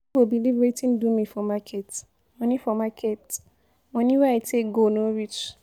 You no go believe wetin do me for market. Money for market. Money wey I take go no reach.